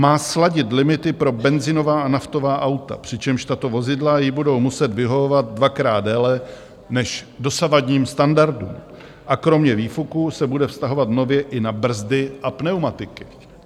Má sladit limity pro benzinová a naftová auta, přičemž tato vozidla jí budou muset vyhovovat dvakrát déle než dosavadním standardům, a kromě výfuků se bude vztahovat nově i na brzdy a pneumatiky.